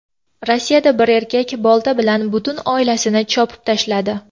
Rossiyada bir erkak bolta bilan butun oilasini chopib tashladi.